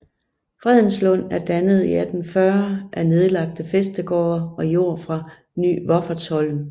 Fredenslund er dannet i 1840 af nedlagte Fæstegårde og Jord fra Ny Wiffertsholm